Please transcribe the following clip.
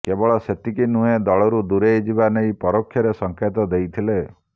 କେବଳ ସେତିକି ନୁହେଁ ଦଳରୁ ଦୂରେଇଯିବା ନେଇ ପରୋକ୍ଷରେ ସଙ୍କେତ ଦେଇଥିଲେ